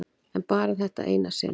En bara þetta eina sinn.